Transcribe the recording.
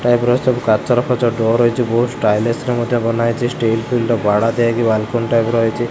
ସବୁ କାଚର ଡୋର୍ ହେଇଛି ବହୁ ଷ୍ଟାଇଲସ ର ମଧ୍ୟ ବନା ହେଇଛି ଷ୍ଟିଲ ର ବାଡ଼ା ଦିଆ ହେଇକି ବାଲ୍କୁନି ଟାଇପ୍ ର ହେଇଛି।